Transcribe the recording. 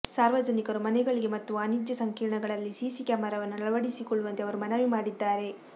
ಸಾರ್ವಜನಿಕರು ಮನೆಗಳಿಗೆ ಮತ್ತು ವಾನಿಜ್ಯ ಸಂಕೀರ್ಣಗಳಲ್ಲಿ ಸಿಸಿ ಕ್ಯಾಮರವನ್ನು ಅಳವಡಿಸಿಕೊಳ್ಳುವಂತೆ ಅವರು ಮನವಿ ಮಾಡಿದ್ದಾರೆ